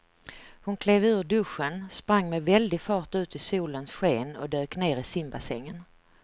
Hon klev ur duschen, sprang med väldig fart ut i solens sken och dök ner i simbassängen.